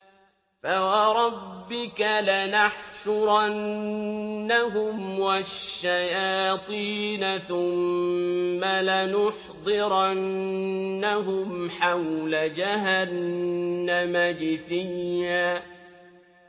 فَوَرَبِّكَ لَنَحْشُرَنَّهُمْ وَالشَّيَاطِينَ ثُمَّ لَنُحْضِرَنَّهُمْ حَوْلَ جَهَنَّمَ جِثِيًّا